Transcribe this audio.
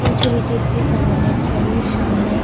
এই ছবিটি একটি স্যালন এর ছবি সামনে--